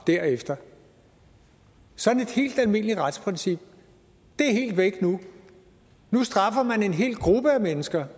derefter sådan et helt almindeligt retsprincip er helt væk nu nu straffer man en hel gruppe af mennesker